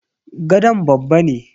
gadon babba ne.